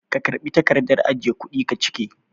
Ka karɓi takardar ajiye kuɗi ka cike?